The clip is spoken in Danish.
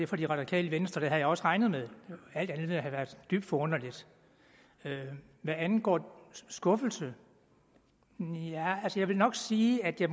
fra det radikale venstre det havde jeg også regnet med alt andet ville have været dybt forunderligt hvad angår skuffelse vil jeg nok sige at jeg